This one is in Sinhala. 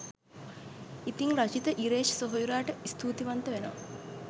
ඉතිං රචිත ඉරේෂ් සෙහොයුරාට ස්තූතිවන්ත වෙනවා